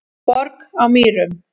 Borg á Mýrum